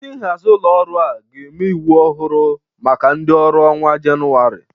Ndị nhazị ụlọ ọrụ a ga-eme iwu ọhụrụ maka ndị ọrụ n'ọnwa Jenuwarị